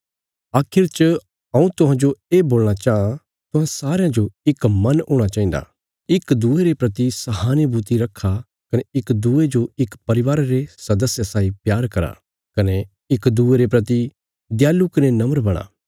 आखिर च हऊँ तुहांजो ये बोलणा चांह तुहां सारयां जो इक मन हूणा चाहिन्दा इक दूये रे प्रति सहानुभूति रखा कने इक दूये जो इक परिवारा रे सदस्या साई प्यार करा कने इक दूये रे प्रति दयालु कने नम्र बणा